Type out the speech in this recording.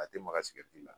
A tɛ maga sigɛriti la